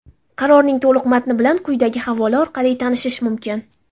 Qarorning to‘liq matni bilan quyidagi havola orali tanishish mumkin.